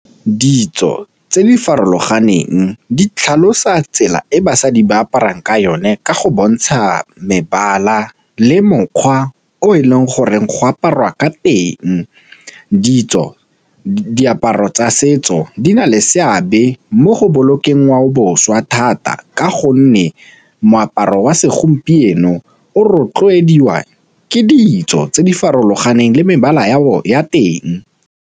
Ditso tse di farologaneng di tlhalosa tsela e basadi ba aparang ka yone ka go bontsha mebala le mokgwa o e leng goreng go aparwa ka teng. Titso diaparo tsa setso di na le seabe mo go bolokeng ngwaoboswa thata ka gonne moaparo wa segompieno o rotloediwa ke ditso tse di farologaneng le mebala ya teng.